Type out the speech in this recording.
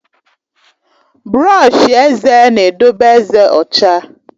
Brọọshi eze na-edobe ezé ọcha.